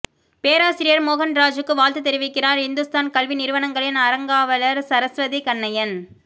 பேராசிரியா் மோகன்ராஜுக்கு வாழ்த்துத் தெரிவிக்கிறாா் இந்துஸ்தான் கல்வி நிறுவனங்களின் அறங்காவலா் சரஸ்வதி கண்ணையன்